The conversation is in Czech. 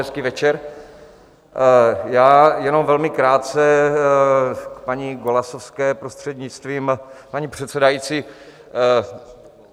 Hezký večer, já jenom velmi krátce k paní Golasowské, prostřednictvím paní předsedající.